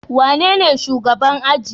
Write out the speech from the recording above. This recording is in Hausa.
Wanene shugaban ajin?